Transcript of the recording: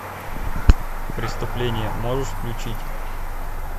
преступление можешь включить